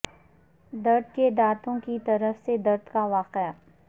درد کے دانتوں کی طرف سے درد کا واقعہ